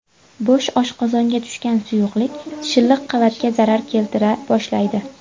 Bo‘sh oshqozonga tushgan suyuqlik shilliq qavatga zarar keltira boshlaydi.